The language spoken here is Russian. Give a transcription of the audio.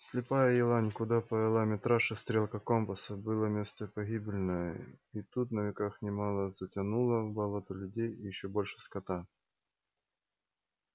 слепая елань куда повела митрашу стрелка компаса было место погибельное и тут на веках немало затянуло в болото людей и ещё больше скота